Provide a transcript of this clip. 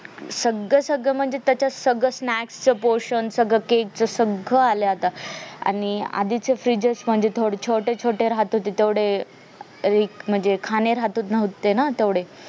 सगळं सगळं म्हणजे त्याच्यात सगळं snack च पोषण सगळं cake च सगळं आलाय आता आणि आधीचे फ्रीजेस म्हणजे थोडं छोटे छोटे राहत होते तेवढे एक म्हणजे खाणे राहत होते ना तेवढे